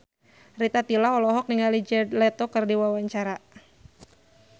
Rita Tila olohok ningali Jared Leto keur diwawancara